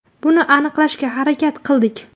Buni aniqlashga harakat qildik.